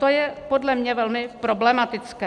To je podle mě velmi problematické.